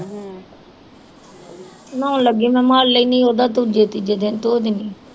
ਨਹਾਉਣ ਲੱਗੀ ਮੈਂ ਮੱਲ ਲੈਨੀ ਓਦਾਂ ਦੂਜੇ ਤੀਜੇ ਦਿਨ ਧੋ ਦਿਨੀ ਆਂ